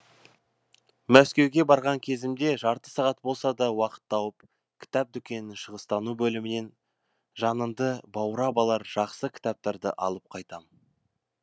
мәскеуге барған кезімде жарты сағат болса да уақыт тауып кітап дүкенінің шығыстану бөлімінен жаныңды баурап алар жақсы кітаптарды алып қайтам